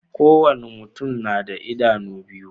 Ko wani mutum na da idanu biyu.